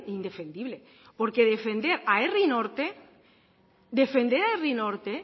indefendible porque defender a herri norte defender a herri norte